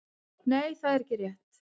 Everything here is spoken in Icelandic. Nei það er ekki rétt.